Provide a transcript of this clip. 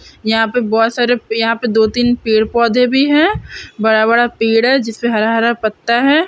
यहाँ पर बहुत सारे यहाँ पे दो-तीन पेड़ पौधे भी है बड़ा-बड़ा पेड़ है जिस पर हरा हरा पत्ता है।